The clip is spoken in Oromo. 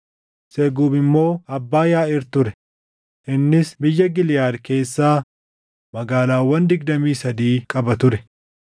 Seguub immoo abbaa Yaaʼiir ture; innis biyya Giliʼaad keessaa magaalaawwan digdamii sadii qaba ture.